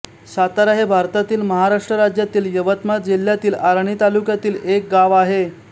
सातारा हे भारतातील महाराष्ट्र राज्यातील यवतमाळ जिल्ह्यातील आर्णी तालुक्यातील एक गाव आहे